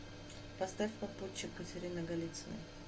поставь попутчик катерины голицыной